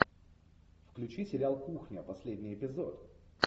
включи сериал кухня последний эпизод